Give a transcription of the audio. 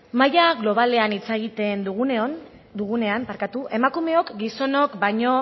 maila globalean hitz egiten dugunean emakumeok gizonok baino